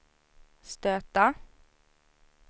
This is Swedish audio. stöta